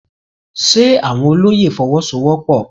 Ṣe àwọn olóyè Fọwọ́sowọ́pọ̀?